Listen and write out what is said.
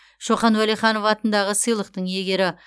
шохан уәлиханов атындағы сыйлықтың иегері